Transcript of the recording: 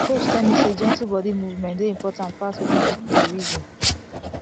my coach tell me say gentle body movement dey important pass wetin people dey reason